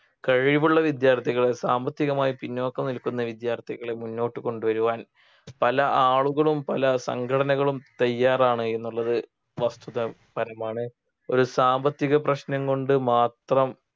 കഴിവുള്ള വിദ്യാർത്ഥികളെ സാമ്പത്തികമായി പിന്നോക്കം നിൽക്കുന്ന വിദ്യാർത്ഥികളെ മുന്നോട്ടു കൊണ്ടു വരുവാൻ പല ആളുകളും പല സംഘടനകളും തയ്യാറാണ് എന്നുള്ളത് വസ്തുത പരമാണ് ഒരു സാമ്പത്തിക പ്രശ്നം കൊണ്ട് മാത്രം